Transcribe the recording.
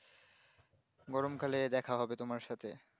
গরম কালে দেখা হবে তোমার সাথে